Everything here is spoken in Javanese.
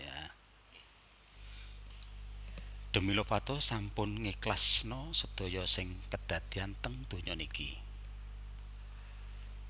Demi Lovato sampun ngikhlasno sedaya sing kedadean teng donya niki